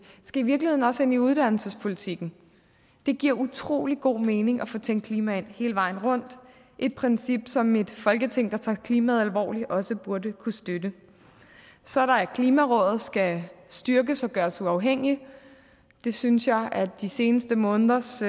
skal i virkeligheden også ind i uddannelsespolitikken det giver utrolig god mening at få tænkt klima ind hele vejen rundt et princip som et folketing der tager klimaet alvorligt også burde kunne støtte så er der at klimarådet skal styrkes og gøres uafhængigt det synes jeg at de seneste måneders